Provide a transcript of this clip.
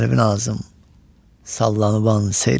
Sərvinazım sallanıban seyr elə.